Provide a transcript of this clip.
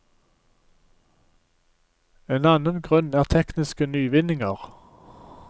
En annen grunn er tekniske nyvinninger.